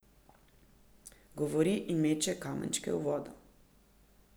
Govori in meče kamenčke v vodo.